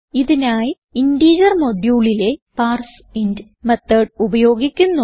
ഇതിനായി ഇന്റിജർ moduleലെ parseInt method ഉപയോഗിക്കുന്നു